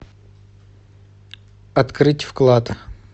открыть вклад